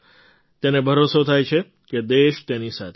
તેને ભરોસો થાય છે કે દેશ તેની સાથે છે